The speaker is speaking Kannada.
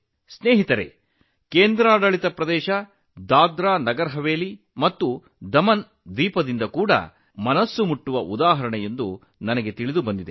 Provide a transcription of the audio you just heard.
ಸ್ನೇಹಿತರೇ ದಾದ್ರಾನಗರ ಹವೇಲಿ ಮತ್ತು ದಮನ್ದಿಯು ಕೇಂದ್ರಾಡಳಿತ ಪ್ರದೇಶಗಳಲ್ಲೂ ಇಂತಹ ಹೃದಯಸ್ಪರ್ಶಿ ಉದಾಹರಣೆಗಳ ಬಗ್ಗೆ ನಾನು ತಿಳಿದುಕೊಂಡಿದ್ದೇನೆ